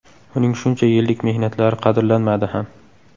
Uning shuncha yillik mehnatlari qadrlanmadi ham.